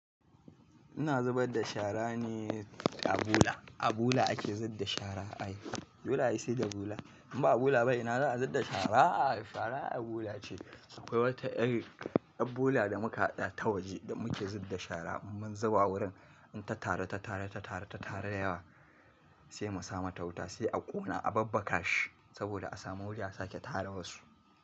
Ina zubar da shara ne a bola. A bola ake zudda shara ai dole sai da bola. In ba bola ba ina za a zudda shara? Shara a bola ce. Akwai wata yar yar bola da muka haɗa ta waje da muke zub da shara mun zuba wurin in ta tare ta tare ta tare ta tare da yawa sai mu sa mata wuta sai a ƙona a babbaka shi saboda a samu wuri a sake tara wasu.